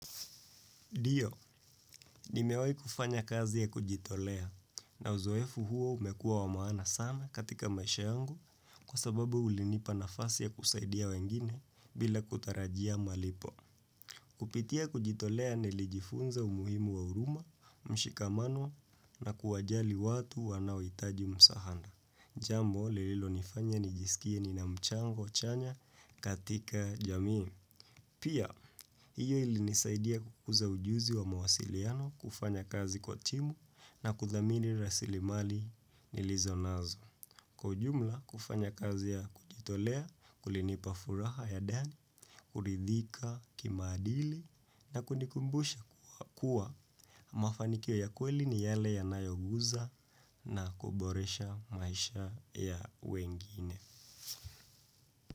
Dio, nimewai kufanya kazi ya kujitolea na uzoefu huo umekua wa maana sana katika maisha yangu kwa sababu ulinipa nafasi ya kusaidia wengine bila kutarajia malipo. Kupitia kujitolea nilijifunza umuhimu wa uruma, mshikamano na kuwajali watu wanaoitaji msahada. Jambo, lililo nifanya nijisikie ninamchango chanya katika jami. Pia, hiyo ilinisaidia kukuza ujuzi wa mawasiliano kufanya kazi kwa timu na kuthamini rasilimali nilizo nazo. Kwa ujumla, kufanya kazi ya kujitolea, kulinipa furaha ya dani, kuridhika kimaadili na kunikumbusha kukua. Mafanikio ya kweli ni yale yanayoguza na kuboresha maisha ya wengine.